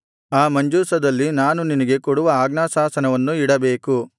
ಆ ಮಂಜೂಷದಲ್ಲಿ ನಾನು ನಿನಗೆ ಕೊಡುವ ಆಜ್ಞಾಶಾಸನವನ್ನು ಇಡಬೇಕು